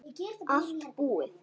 Allt búið